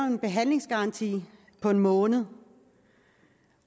en behandlingsgaranti på en måned